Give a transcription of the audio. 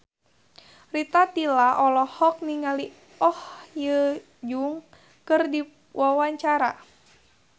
Rita Tila olohok ningali Oh Ha Young keur diwawancara